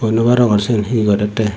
hoi nwarongor syen hi gorey tey.